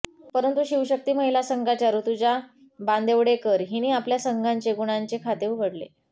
परंतु शिवशक्ती महिला संघाच्या ऋतुजा बांदेवडेकर हिने आपल्या संघाचे गुणांचे खाते उघडले